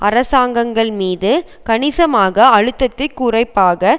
அரசாங்கங்கள்மீது கணிசமாக அழுத்தத்தை குறிப்பாக